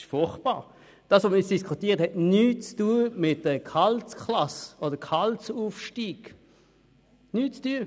Was wir vorliegend diskutieren, hat nichts mit Gehaltsklassen oder Gehaltsaufstieg zu tun.